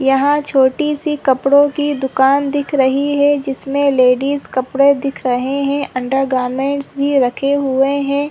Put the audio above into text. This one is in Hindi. यहाँ छोटी -सी कपड़ो की दुकान दिख रही है जिसमें लेडिस कपड़ॆ दिख रहे है अंडरगार्मेंट्स भी रखे हुए हैं ।